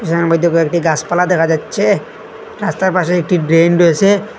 যার মইদ্যে কয়েকটি গাসপালা দেখা যাচ্ছে রাস্তার পাশে একটি ড্রেন রয়েসে।